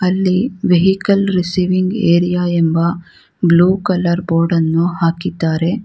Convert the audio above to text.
ಅಲ್ಲಿ vehicle receiving area ಎಂಬ blue colour board ಅನ್ನು ಹಾಕಿದಾರೆ.